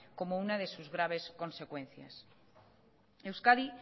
como una de sus graves consecuencias euskadi